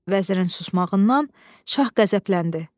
Vəzirin susmağından şah qəzəbləndi.